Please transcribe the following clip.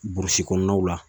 Burusi kɔnɔnaw la